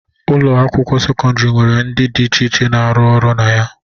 Ụlọ akwụkwọ sekọndịrị nwere ndị dị iche iche na-arụ na ya